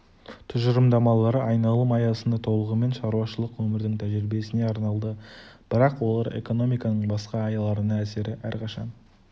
тұжырымдамалары айналым аясында толығымен шаруашылық өмірдің тәжиребесіне арналды бірақ олар экономиканың басқа аяларына әсері әрқашан